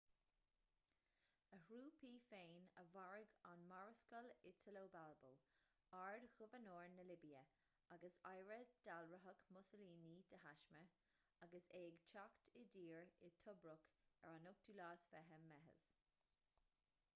a thrúpaí féin a mharaigh an marascal italo balbo ard-ghobharnóir na libia agus oidhre ​​dealraitheach mussolini de thaisme agus é ag teacht i dtír i tobruk ar an 28 meitheamh